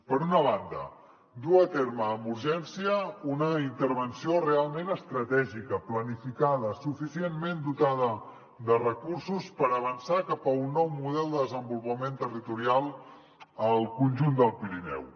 per una banda dur a terme amb urgència una intervenció realment estratègica planificada suficientment dotada de recursos per avançar cap a un nou model de desenvolupament territorial al conjunt del pirineu